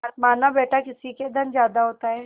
मानाबेटा किसी के धन ज्यादा होता है